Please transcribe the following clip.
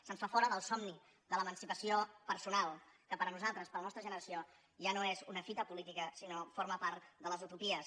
se’ns fa fora del somni de l’emancipació personal que per a nosaltres per a la nostra generació ja no és una fita política sinó que forma part de les utopies